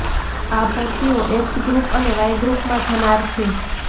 આ ભરતીઓ X group અને વાઈ ગ્રુપમાં થનાર છે